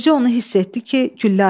Bircə onu hiss etdi ki, güllə açıldı.